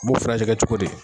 M'o furajɛkɛ cogo di